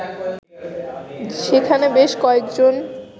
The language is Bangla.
সেখানে বেশ কয়েকজন